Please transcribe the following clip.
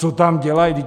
Co tam dělají?